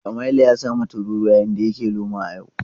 Samaila ya samu tururuwa yayin da yake noma a yau.